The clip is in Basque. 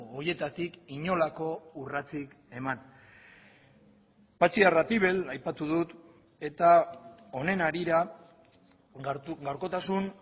horietatik inolako urratsik eman patxi arratibel aipatu dut eta honen harira gaurkotasun